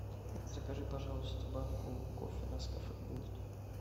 закажи пожалуйста банку кофе нескафе голд